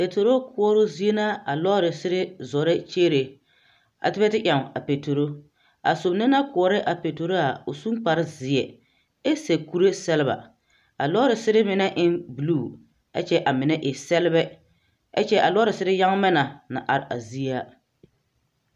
Petero koɔroo zie na ka lɔɔsere zoro kyeere ka ba te eŋ a petero a soba na naŋ te koɔra a petero a o suŋ kparzie ɛ sɛb kuree sablaa a lɔɔsere mine eŋ bulu kyɛ a mine e sɛbbɛ ɛ kyɛ a lɔɔsere yagmɛ na naŋ are a zie a.